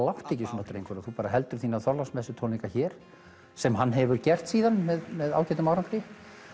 láttu ekki svona drengur þú heldur þína hér sem hann hefur gert síðan með með ágætum árangri